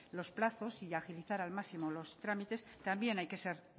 los plazos y agilizar al máximo los trámites también hay que ser